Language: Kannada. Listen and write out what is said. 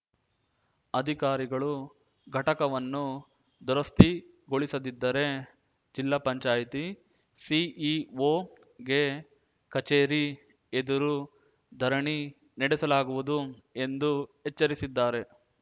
ಅಧಿಕಾರಿಗಳು ಘಟಕವನ್ನು ದುರಸ್ತಿಗೊಳಿಸದಿದ್ದರೆ ಜಿಲ್ಲಾ ಪಂಚಾಯತಿ ಸಿಇಒಗೆ ಕಚೇರಿ ಎದುರು ಧರಣಿ ನಡೆಸಲಾಗುವುದು ಎಂದು ಎಚ್ಚರಿಸಿದ್ದಾರೆ